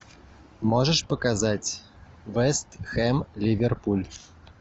можешь показать вест хэм ливерпуль